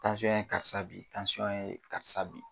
Tansyɔn ye karisa bin, tansyɔn ye karisa bin.